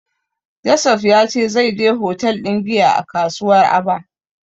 Joseph ya ce zai je hotel ɗin giya a kasuwar Aba.